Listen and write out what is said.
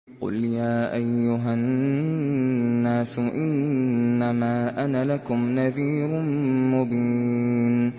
قُلْ يَا أَيُّهَا النَّاسُ إِنَّمَا أَنَا لَكُمْ نَذِيرٌ مُّبِينٌ